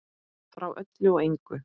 Frá öllu og engu.